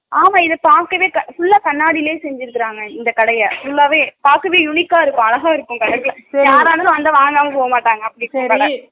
ஆமா இத பாக்கவே full ல கண்ணாடிலயே செஞ்சிருக்காங்க இந்த கடைய full லாவே பாக்கவே uniq க இருக்கும் அழகா இருக்கும் கடை யாராலும் வந்தா வாங்காம போ மாட்டங்க